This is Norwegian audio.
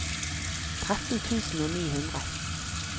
tretten tusen og ni hundre